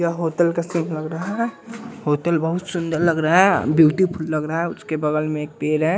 यह होतल का सीन लग रहा है होतल बहुत सुंदल लग रहा ब्यूटीफुल लग रहा उसके बगल में एक पेर है।